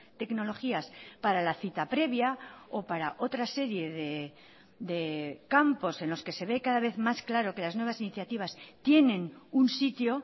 tecnologías para la cita previa o para otra serie de campos en los que se ve cada vez más claro que las nuevas iniciativas tienen un sitio